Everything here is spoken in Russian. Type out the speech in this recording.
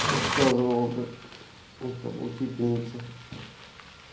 рассказывала блять эта учительница